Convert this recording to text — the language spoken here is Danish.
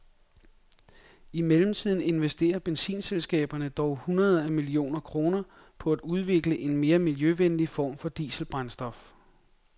I mellemtiden investerer benzinselskaberne dog hundreder af millioner kroner på at udvikle en mere miljøvenlig form for dieselbrændstof.